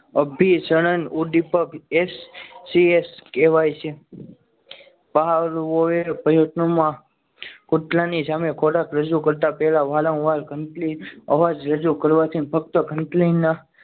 અભિસરણ ઉદ્દીપક તે સીએસ કહેવાય છે પાવલો એ પ્રયત્નોમાં કૂતરાની સામે ખોરાક રજૂ કરતા વધેલા વારંવાર સંકલિત અવાજ રજૂ કરવાથી ફક્ત